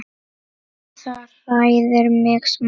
Það hræðir mig smá.